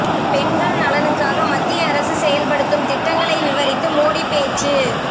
பெண்கள் நலனுக்காக மத்திய அரசு செயல்படுத்தும் திட்டங்களை விவரித்து மோடி பேச்சு